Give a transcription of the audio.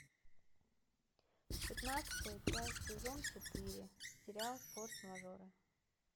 пятнадцатая часть сезон четыре сериал форс мажоры